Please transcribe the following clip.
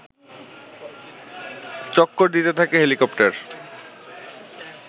চক্কর দিতে থাকে হেলিকপ্টার